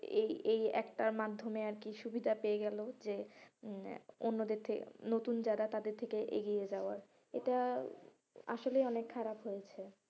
এই এই একটার মাধ্যমে আরকি সুবিধা পেয়ে গেলো যে হম অন্যদের থেকে নতুন যারা তাদের থেকে এগিয়ে যাওয়া এটা আসলেই অনেক খারাপ হয়েছে।